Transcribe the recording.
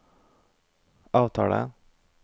avtale